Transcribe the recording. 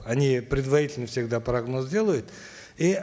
они предварительный всегда прогноз делают и